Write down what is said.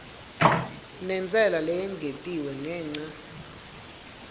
nentsela leyengetiwe ngenca